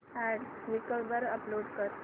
add Quikr वर upload कर